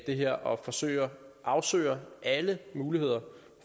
det her og afsøger afsøger alle muligheder